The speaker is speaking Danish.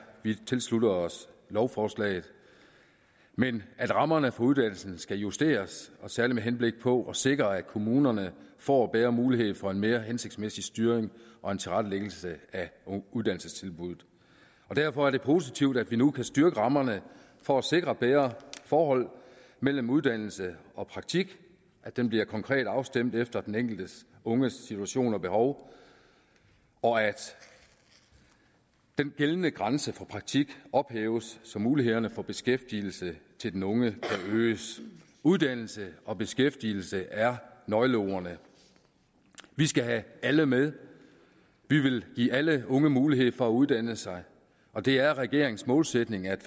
vi tilslutter os lovforslaget men vi at rammerne for uddannelsen skal justeres særlig med henblik på at sikre at kommunerne får bedre mulighed for en mere hensigtsmæssig styring og tilrettelæggelse af uddannelsestilbud derfor er det positivt at vi nu kan styrke rammerne for at sikre et bedre forhold mellem uddannelse og praktik at det bliver konkret afstemt efter den enkelte unges situation og behov og at den gældende grænse for praktik ophæves så mulighederne for beskæftigelse til den unge forøges uddannelse og beskæftigelse er nøgleordene vi skal have alle med vi vil give alle unge mulighed for at uddanne sig og det er regeringens målsætning at